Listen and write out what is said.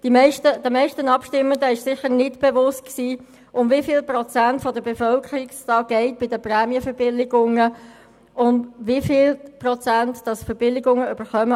Den meisten Abstimmenden war sicher nicht bewusst, um wie viele Prozente der Bevölkerung es bei den Prämienverbilligungen geht und wie viele Prozente Verbilligungen erhalten.